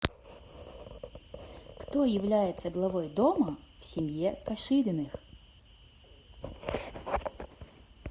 кто является главой дома в семье кашириных